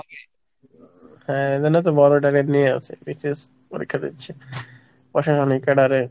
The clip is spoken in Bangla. হ্যাঁ এই জন্যই তো বড়ো target নিয়ে আরে BCS পরীক্ষা দিচ্ছি